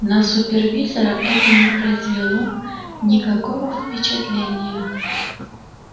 на супервизора это не произвело никакого впечатления